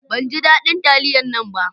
Ban ji dadin taliyan nan ba